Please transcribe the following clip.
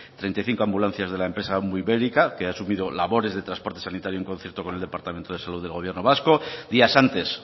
treinta y cinco ambulancias de la empresa ambuibérica que ha asumido labores de transporte sanitario en concierto con el departamento de salud del gobierno vasco días antes